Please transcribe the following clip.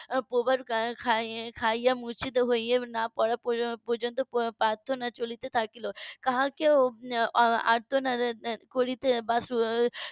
. মূর্ছিত হয়ে না পড়া পর্যন্ত প্রার্থনা চলতে থাকলো কাউকে বা আর্তনাদ করতে বা